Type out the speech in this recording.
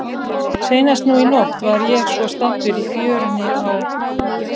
Seinast nú í nótt var ég svo staddur í fjörunni á